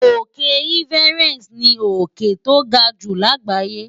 Òkè Everest ni òkè tó ga jù láàgbáyé.